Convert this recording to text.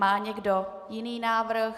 Má někdo jiný návrh?